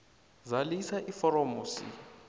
zalisa iforomo c